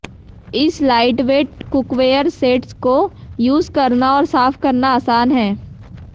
इस lightweight cookware sets को use करना और साफ करना आसान है